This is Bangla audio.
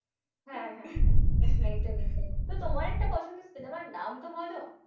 হ্যাঁ হ্যাঁ হ্যাঁ একদমই তাই তো তোমার একটা পছন্দের cinema নাম তো বলো?